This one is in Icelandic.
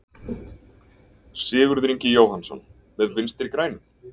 Sigurður Ingi Jóhannsson: Með Vinstri-grænum?